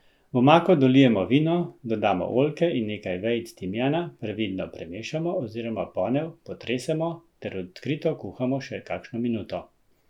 V omako dolijemo vino, dodamo oljke in nekaj vejic timijana, previdno premešamo oziroma ponev potresemo ter odkrito kuhamo še kakšno minuto.